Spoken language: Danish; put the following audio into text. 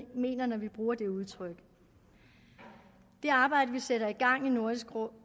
mener når vi bruger det udtryk det arbejde vi sætter i gang i nordisk råd